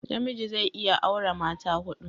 namiji zai iya aura mata hudu